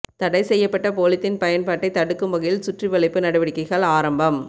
தடை செய்யப்பட்ட பொலித்தீன் பயன்பாட்டை தடுக்கும் வகையில் சுற்றிவளைப்பு நடவடிக்கைகள் ஆரம்பம்